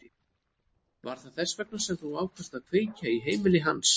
Var það þess vegna sem þú ákvaðst að kveikja í heimili hans?